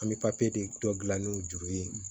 An bɛ de dɔ dilan n'u juru ye